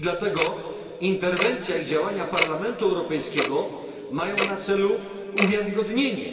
I dlatego interwencja i działania Parlamentu Europejskiego mają na celu jego uwiarygodnienie.